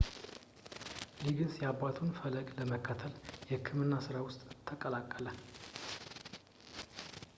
ሊጊንስ የአባቱን ፈለግ በመከተል የሕክምና ስራ ውስጥ ተቀላቀለ